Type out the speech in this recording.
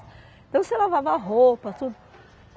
Então, você lavava roupa, tudo.